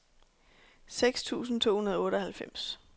seks tusind to hundrede og otteoghalvfems